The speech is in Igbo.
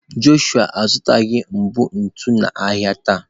Jọshụa azụtaghị mbọ ntu n'ahịa taa.